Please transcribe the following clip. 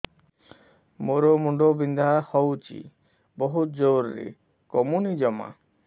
ମୋର ମୁଣ୍ଡ ବିନ୍ଧା ହଉଛି ବହୁତ ଜୋରରେ କମୁନି ଜମା